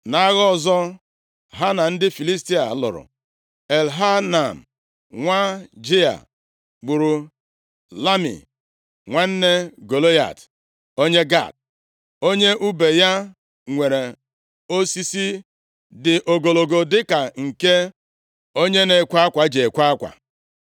Nʼagha ọzọ ha na ndị Filistia lụrụ, Elhanan, nwa Jaịa, gburu Lami nwanne Golaịat, onye Gat. Onye ùbe ya nwere osisi dị ogologo dịka nke onye na-ekwe akwa ji ekwe akwa.